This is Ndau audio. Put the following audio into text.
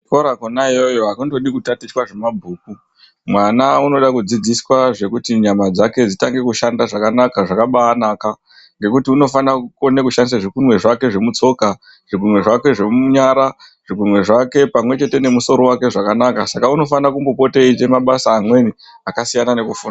Kuchikora kona iyoyo hakundodi kutatichwa zvemabhuku mwana unoda kudzidziswa kuti nyama dzake dzishande zvakanaka dzishande zvakabanaka. Kuti unofanire kushandisa zvigunwe zvake zvemutsoka ,zvigunwe zvake zvemunyara zvigunwe zvake pamwe chete nemusoro vake zvakanaka. Saka unofanire kupota achimboita mabasa amweni akasiyana nekufunda.